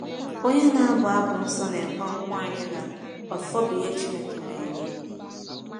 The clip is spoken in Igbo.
Onye na-abu abụ nsọ na-ekwe nkwa anyị na “ọfọ bụ ihe Chineke na-enye.”